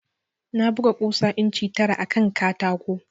Na buga ƙusa inci tara akan katako